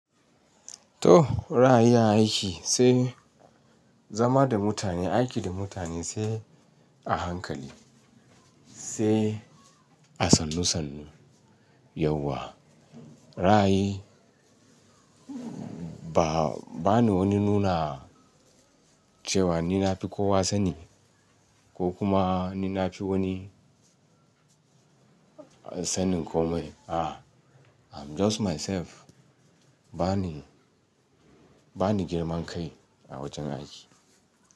To, ra'ayi a aiki sai, zama da mutane, aiki da mutane sai a hankali, sai a sannu sannu. Yauwa. Ra'ayi ba, ba ni wani nuna cewa ni na fi kowa sani ko kuma ni na fi wani sanin komai. A, I'm just myself. Ba ni, ba ni girman kai a wajen aiki.